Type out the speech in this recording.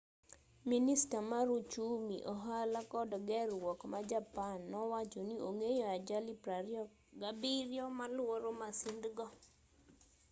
minista mar uchumi ohala kod ger-ruok ma japan nowacho ni ong'eyo ajali 27 maluoro masindgo